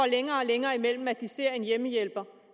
længere og længere imellem at de ældre ser en hjemmehjælper